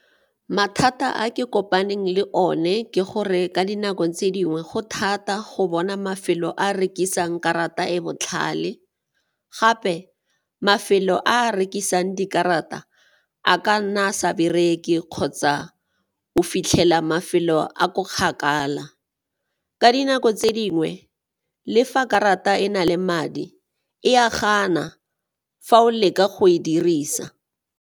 Mathata a ke kopaneng le one ke gore ka dinako tse dingwe go thata go bona mafelo a rekisang karata e e botlhale gape mafelo a a rekisang dikarata a ka nna a sa bereke kgotsa o fitlhela mafelo a ko kgakala. Ka dinako tse dingwe le fa karata e na le madi e a gana fa o leka go e dirisa.